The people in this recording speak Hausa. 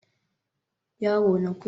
yaro na kullum yana tsalle akan gado